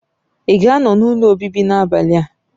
Ị ga-anọ n'ụlọ obibi n'abalị a?